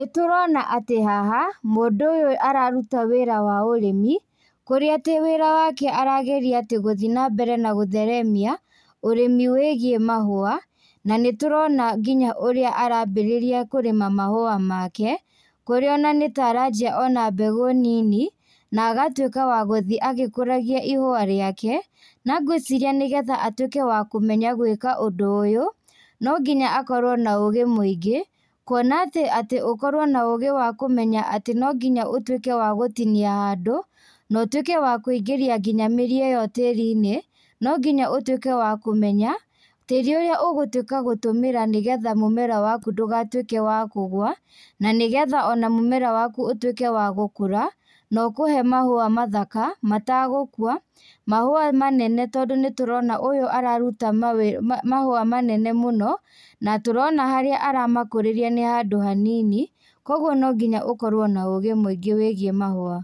Nĩtũrona atĩ haha, mũndũ ũyũ araruta wĩra waũrĩmi, kũrĩa atĩ wĩra wake arageria atĩ gũthiĩ nambere na gũtheremia ũrĩmĩ wĩgiĩ mahũa, na nĩtũrona nginya ũrĩa arambĩrĩria kũrĩma mahũa make, kũrĩa ona nĩta aranjĩa ona mbegũ nini, na agatuĩka wa gũthiĩ agĩkũragia ihũa rĩake, na ngwĩciria nĩgetha atuĩke wa kũmenya gwĩka ũndũ ũyũ, nonginya akorwo na ũgĩ mũingĩ, kuona atĩ atĩ ũkorwo na ũgĩ wa kũmenya atĩ no nginya ũtuĩke wa gũtinia handũ, na ũtuĩke wa kũingĩria nginya mĩri ĩyo tĩrinĩ, no ginya ũtuĩke wa kũmenya, tĩri ũrĩa ũgũtuĩka gũtũmĩra nĩgetha mũmera waku ndũgatuĩke wa kũgũa, na nĩgetha ona mũmera waku ũtuĩke wa gũkũra, na ũkũhe mahũa mathaka, matagũkua, mahũa manene tondũ nĩtũrona ũyũ araruta mawĩ ma mahũa manene mũno, na tũrona harĩa aramakũrĩria nĩ handũ hanini, koguo no nginya ũkorwo na ũgĩ mũingĩ wĩgiĩ mahũa.